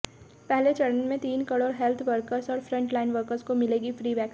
पहले चरण में तीन करोड़ हेल्थ वर्कर्स और फ्रंटलाइन वर्कर्स को मिलेगी फ्री वैक्सीन